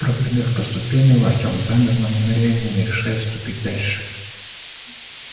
прогремев по ступеням артем замер на мгновение не решаясь ступить дальше